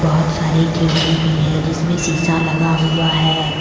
बहोत सारे खिड़की भी है जिस्में शीशा लगा हुआ है।